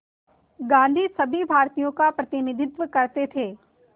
गांधी सभी भारतीयों का प्रतिनिधित्व करते थे